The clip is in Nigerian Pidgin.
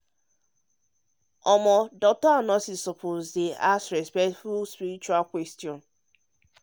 ah doctors and nurses suppose even with small pause still ask respectful spiritual questions.